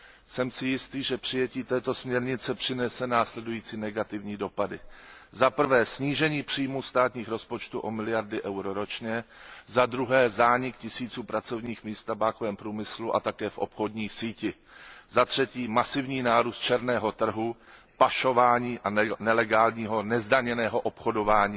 Jsem si jistý, že přijetí této směrnice přinese následující negativní dopady zaprvé snížení příjmů státních rozpočtů o miliardy eur ročně, zadruhé zánik tisíců pracovních míst v tabákovém průmyslu a také v obchodní síti, zatřetí masivní nárůst černého trhu, pašování a nelegálního, nezdaněného obchodování